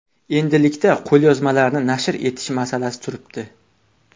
Endilikda qo‘lyozmalarni nashr etish masalasi turibdi.